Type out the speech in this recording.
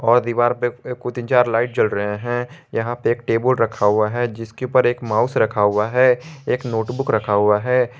और दीवार पे तीन चार लाइट जल रहे हैं यहां एक टेबल रखा हुआ है जिसके ऊपर एक माउस रखा हुआ है एक नोटबुक रखा हुआ है।